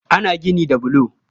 Ana gini da bulo